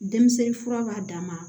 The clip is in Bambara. Denmisɛnnin fura b'a dama